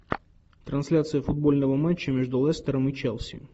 трансляция футбольного матча между лестером и челси